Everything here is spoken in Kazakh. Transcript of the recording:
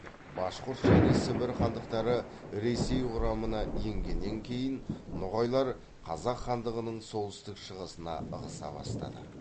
башқұрт және сібір хандықтары ресей құрамына енгеннен кейін ноғайлар қазақ хандығының солтүстік шығысына ығыса бастады